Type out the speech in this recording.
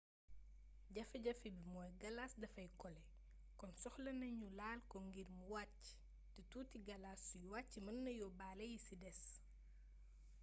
jafe jafe bi mooy galas dafay kole kon soxlana ñu laal ko ngir mu wàcc te tuuti galas suy wàcc mën na yóbbaale yi des